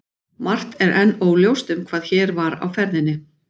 Margt er enn óljóst um hvað hér var á ferðinni.